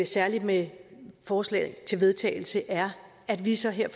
særlig med forslaget til vedtagelse er at vi så her